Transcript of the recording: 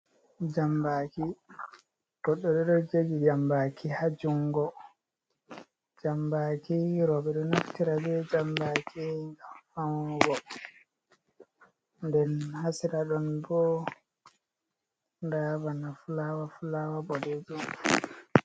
Jambaaki, jambaaki haa junngo, jambaaki rooɓe ɗo naftira be jambaaki ngam fawnugo, nden haa sera ɗon bo nda bana fulaawa-fulaawa boɗeejum.